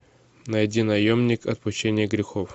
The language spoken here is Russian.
найди наемник отпущение грехов